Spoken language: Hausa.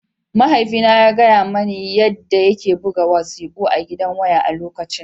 Mahaifina ya gaya mani yadda yake buga wasiƙu a gidan waya a lokacin